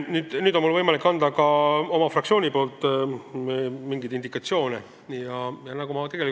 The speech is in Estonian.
Nüüd on mul võimalik anda mingeid indikatsioone ka oma fraktsiooni nimel.